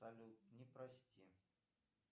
салют не простим